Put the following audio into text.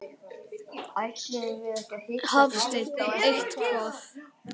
Hafsteinn: Eitthvað?